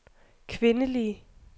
kvindelige